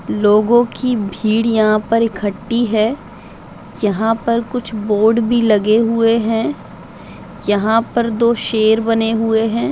लोगों की भीड़ यहां पर इखट्टी है जहां पर कुछ बोर्ड भी लगे हुए हैं | यहां पर दो शेर बने हुए हैं।